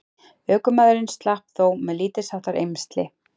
Ökumaðurinn slapp þó með lítilsháttar eymsli